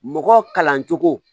Mɔgɔ kalancogo